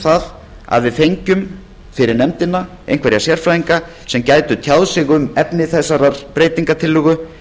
um að við fengjum fyrir nefndina einhverja sérfræðinga sem gætu tjáð sig um efni þessarar breytingartillögu